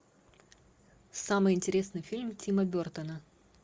самый интересный фильм тима бертона